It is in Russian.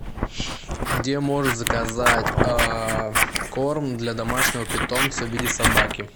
где можно заказать корм для домашнего питомца в виде собаки